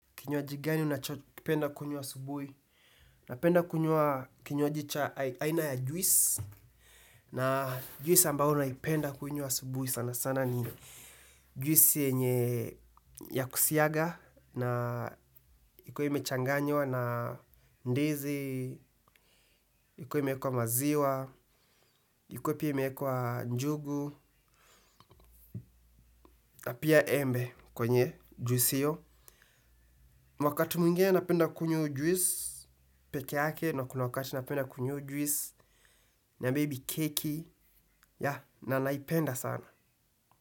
Kinywaji gani unachopenda kunywa asubuhi? Napenda kunywa kinywaji cha aina ya juice. Na juice ambao naipenda kunywa asubuhi sana sana ni juice yenye ya kusiaga. Na ikuwe imechanganywa na ndizi, ikuwe imeekwa maziwa, ikuwe pia imeekwa njugu, na pia embe kwenye juice hiyo. Mwakati mwingine napenda kunywa iyo juice pekee yake na kuna wakati napenda kunywa hiyo juice na maybe keki yeah na naipenda sana.